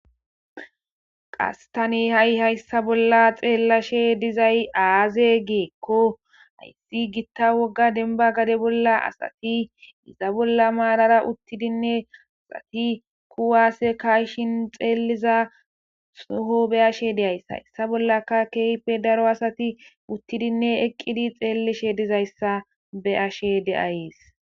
Qastani ha'i hayssa bolla xeellashe dizay aaze geekko hayssi gitta wogga denba gade bolla asati iza bolla maalara uttidinne asati kuwaase kayshin xeeliza suho be ashe de'ays hayssa bollaka keype daro asati uttidinne eqqidi xeellishe dizayssa be ashe deayees.